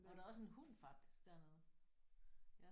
Og der er også en hund faktisk dernede